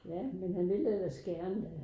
Ja men han ville ellers gerne